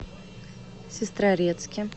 сестрорецке